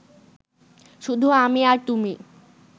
শুধু আমি আর তুমি